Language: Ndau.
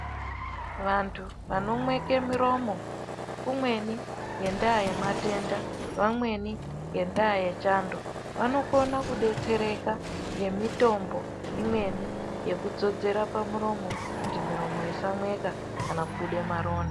Vantu vanomweke miromo, umweni ngendaa yematenda vamweni ngendaa yechando, vanokona kudetsereka ngemitombo imweni yekudzodzera pamuromo kuti muromo isamweka kana kubude maronda.